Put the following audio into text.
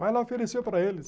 Mas ela ofereceu para eles.